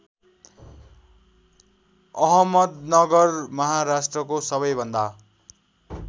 अहमदनगर महाराष्ट्रको सबैभन्दा